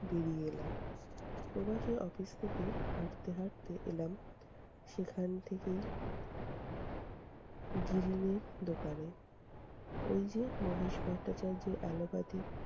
বেরিয়ে এলাম। প্রবাসী office থেকে হাঁটতে হাঁটতে এলাম, সেখান থেকে গিরীনের দোকানে । ওই যে মহেশ ভট্টাচার্যের allopathy